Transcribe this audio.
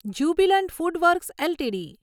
Jubilant FoodWorks LTD